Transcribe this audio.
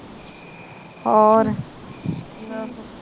ਹੋਰ